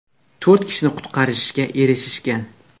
To‘rt kishini qutqarishga erishishgan.